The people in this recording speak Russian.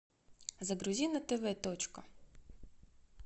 загрузи на тв точка